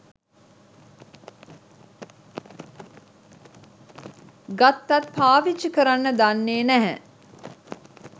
ගත්තත් පාවිච්චි කරන්න දන්නෙ නෑ.